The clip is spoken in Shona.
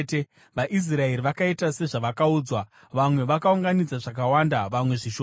VaIsraeri vakaita sezvavakaudzwa; vamwe vakaunganidza zvakawanda, vamwe zvishoma.